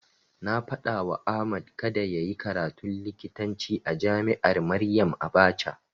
Na faɗawa Ahmad kada yayi karatun likitanci a jami'ar Maryam Abacha.